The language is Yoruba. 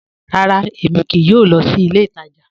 Ràrá, èmi kìí yóò lọ sí ilẹ̀ ìtaja